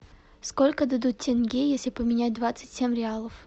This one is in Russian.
сколько дадут тенге если поменять двадцать семь реалов